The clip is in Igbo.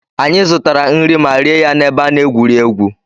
Anyị zụtara nri ma rie ya n'ebe a na-egwuri egwu.